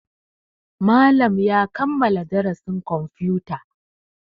Malam ya kammala darasin kwamfuta.